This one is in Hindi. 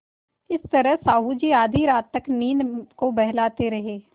इस तरह साहु जी आधी रात तक नींद को बहलाते रहे